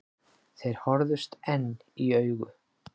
Þeir horfðust enn í augu.